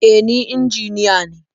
E, ni injiniya ne.